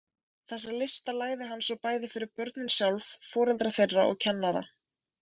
Þessa lista lagði hann svo bæði fyrir börnin sjálf, foreldra þeirra og kennara.